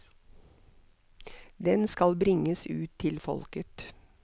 Den skal bringes ut til folket.